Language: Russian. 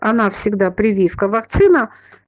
она всегда прививка вакцина